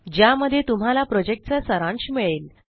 ज्यामध्ये तुम्हाला प्रॉजेक्टचा सारांश मिळेल